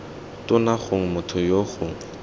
tona gongwe motho yoo gongwe